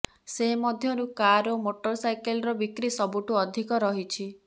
ସେ ମଧ୍ୟରୁ କାର୍ ଓ ମୋଟର୍ସାଇକେଲ୍ର ବିକ୍ରି ସବୁଠୁ ଅଧିକ ରହିଛି